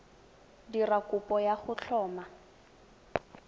dira kopo ya go tlhoma